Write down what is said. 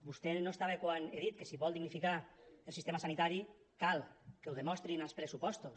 vostè no hi era quan he dit que si vol dignificar el sistema sanitari cal que ho demostrin els pressupostos